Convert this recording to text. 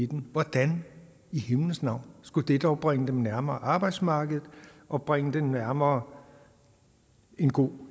den hvordan i himlens navn skulle det dog bringe dem nærmere arbejdsmarkedet og bringe dem nærmere en god